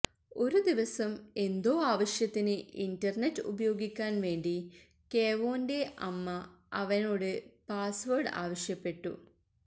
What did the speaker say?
ഒരു ദിവസം എന്തോ ആവശ്യത്തിന് ഇന്റര്നെറ്റ് ഉപയോഗിക്കാന് വേണ്ടി കേവോന്റെ അമ്മ അവനോട് പാസ്വേര്ഡ് ആവശ്യപ്പെട്ടു